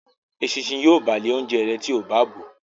Eṣinṣin yíò bàa le oúnjẹ rẹ tíó bá bọ